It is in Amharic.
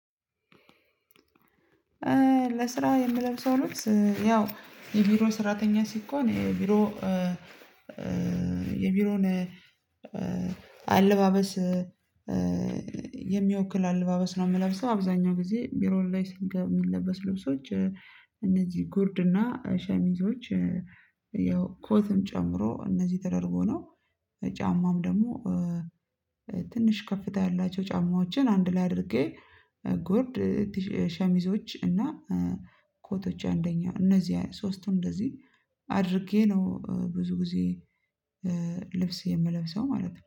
ለስራ የምለብሰው ነው። ያው የቢሮ ሰራተኛ ሲኮን የቢሮ የቢሮን አለባበስ የሚወክል አለባበስ ነው። የምለብሰው አብዛኛው ጊዜ ቢሮ ላይ ስንገባ የሚለብሰው ልብሶች እነዚህ ጉርድና ሸሚዞች ያው ኮትም ጨምሮ እነዚህ ተደርጎ ነው። ጫማም ደግሞ ትንሽ ከፍታ ያላቸው ጫማዎችን አንድ ላይ አድርጌ ጉርድ ሸሚዞች እና ኮቶች አንደኛው እነዚህ ሶስቱም እንደዚህ አድርጌ ነው። ብዙ ጊዜ ልብስ የምለብሰው ማለት ነው